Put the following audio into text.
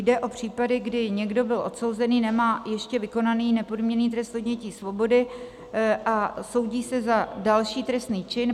Jde o případy, kdy někdo byl odsouzen, nemá ještě vykonaný nepodmíněný trest odnětí svobody a soudí se za další trestný čin.